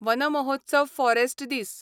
one Mahotsav forest दीस